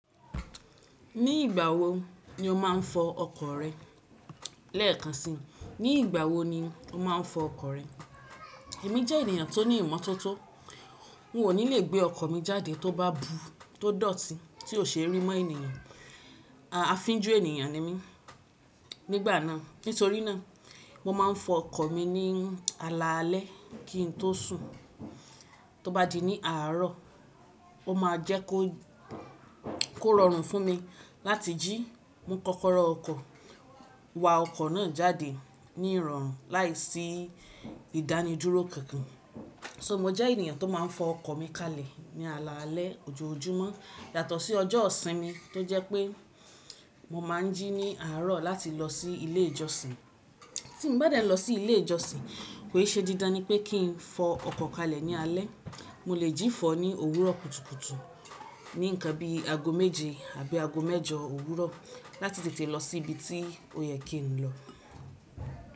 Ní ìgbà wo ni o máa ń fọ ọkọ̀ rẹ lẹ́ẹ̀kan si, ní ìgbà wo ni o máa ń fọ ọkọ̀ rẹ? Èmi jẹ́ ènìyàn tó ní ìmọ́tótó, n ò ní lè gbé ọkọ̀ mi jáde tó bá bu tó dọ̀tí tí ò ṣe rí mọ́ ènìyàn. Àfin jú ènìyàn ni mí nígbà náà. Nítorí náà, mo máa ń fọ ọkọ̀ mi ní alaalẹ́ kí n tó sùn, tó bá di ní àárọ̀, ó máa jẹ́ kó, kó rọrùn fún mi láti jí mú kọ́kọ́rọ́ ọkọ̀, wa ọkọ̀ náà jáde ní ìrọ̀rùn láìsí ìdánidúró kankan. So mo jẹ́ ènìyàn tó máa ń fọ ọkọ̀ mi kalẹ̀ ní alaalẹ́ ojoojúmọ́ yàtọ̀ sí ọjọ́ ìsinmi tó jẹ́ pé mo máa ń jí ní àárọ̀ láti lọ sí ilé ìjọsìn. Tí mo bá dẹ̀ lọ sí ilé ìjọsìn, kò ì ṣe dídá ni pé kí n fọ ọkọ̀ kalẹ̀ ní alẹ́. Mo lè jí fọ́ ní òwúrọ̀ kùtùkùtù ní ǹkan bí i aago méje àbí aago mẹ́jọ òwúrọ̀ láti tètè lọ sí ibi tí ó yẹ kí n lọ.